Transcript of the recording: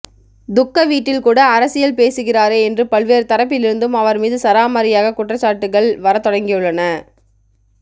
துக்க வீட்டில் கூட அரசியல் பேசுகிறாரே என்று பல்வேறு தரப்பிலிருந்தும் அவர் மீது சரமாரியாக குற்றச்சாட்டுகள் வரத் தொடங்கியுள்ளன